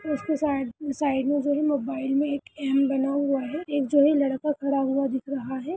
उसके side side में जो भी मोबाइल में एक एम बना हुआ है एक जो है लड़का खड़ा हुआ दिख रहा है।